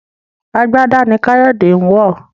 àgbàdá ní Kayode ń wọ.